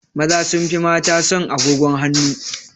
Maza sun fi mata son agogon hanu